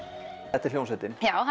þetta er hljómsveitin já